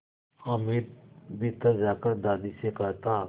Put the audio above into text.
हामिद भीतर जाकर दादी से कहता